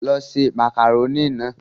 Lọ ṣe màkàrónì náà!